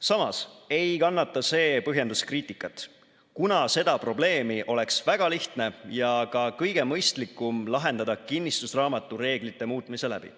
Samas ei kannata see põhjendus kriitikat, kuna seda probleemi oleks väga lihtne ja ka kõige mõistlikum lahendada kinnistusraamatu reeglite muutmise läbi.